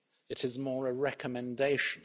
It is more a recommendation.